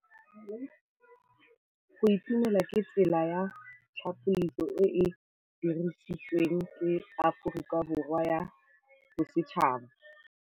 Go itumela ke tsela ya tlhapolisô e e dirisitsweng ke Aforika Borwa ya Bosetšhaba.